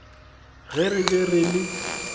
ge re be re le